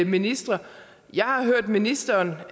ministre jeg har hørt ministeren